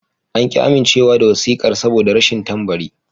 An ƙi amincewa da wasiƙar saboda rashin tambari.